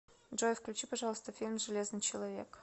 джой включи пожалуйста фильм железный человек